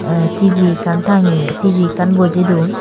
tey T_V ekkan tangeyun T_V ekkan bojey dun.